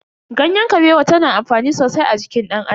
Ganyen Kabewa ta na amfani sosai a jikin dan Adam.